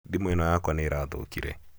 thĩmu ĩno yakwa nĩ ĩrathũkire